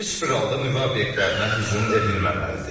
Heç bir halda nüvə obyektlərinə hücum edilməməlidir.